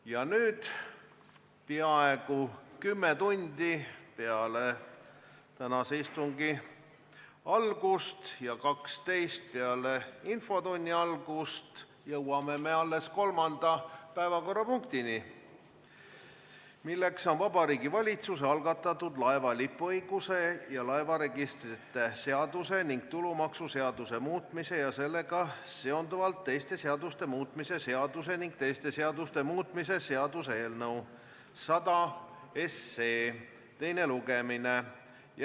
Ja nüüd, peaaegu kümme tundi peale tänase istungi algust ja kaksteist tundi peale infotunni algust jõuame alles kolmanda päevakorrapunktini, milleks on Vabariigi Valitsuse algatatud laeva lipuõiguse ja laevaregistrite seaduse ning tulumaksuseaduse muutmise ja sellega seonduvalt teiste seaduste muutmise seaduse ning teiste seaduste muutmise seaduse eelnõu 100 teine lugemine.